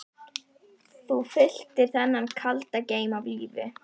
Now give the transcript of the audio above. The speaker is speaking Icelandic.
Þú fylltir þennan kalda geim af lífi.